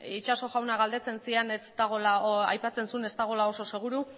itxaso jaunak aipatzen zuen ez dagoela oso seguru